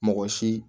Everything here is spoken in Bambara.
Mɔgɔ si